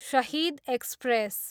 Shahid express